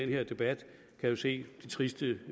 her debat kan jo se de triste